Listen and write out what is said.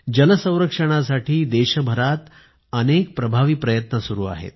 जल संरक्षणासाठी देशभरात अनेक प्रभावी प्रयत्न सुरु आहेत